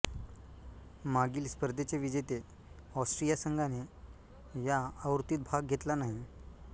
मागील स्पर्धेचे विजेते ऑस्ट्रिया संघाने या आवृत्तीत भाग घेतला नाही